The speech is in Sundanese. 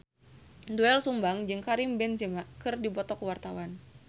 Doel Sumbang jeung Karim Benzema keur dipoto ku wartawan